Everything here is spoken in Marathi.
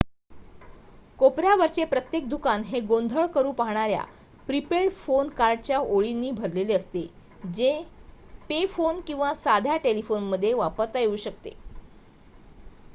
कोपऱ्यावरचे प्रत्येक दुकान हे गोंधळ करू पाहणाऱ्या प्री-पेड फोन कार्डच्या ओळीनी भरलेले असते जे पे फोन किंवा साध्या टेलिफोन मध्ये वापरता येऊ शकते